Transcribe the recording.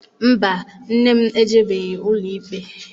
Mba, nne m ejebeghị ụlọikpe.